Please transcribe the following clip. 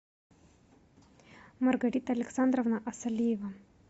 маргарита александровна асалиева